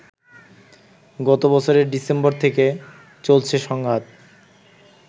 গতবছরের December থেকে চলছে সংঘাত